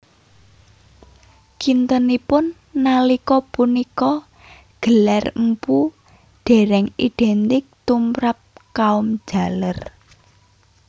Kintenipun nalika punika gelar mpu dereng identik tumrap kaum jaler